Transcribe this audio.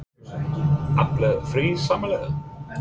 Sölvi Tryggvason: Allar friðsamlegar?